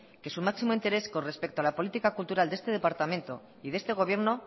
que su máximo interés con respecto a la política cultural de este departamento y de este gobierno